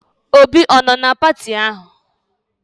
Obi ọ nọ na pati ahụ?